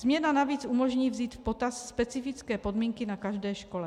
Změna navíc umožní vzít v potaz specifické podmínky na každé škole.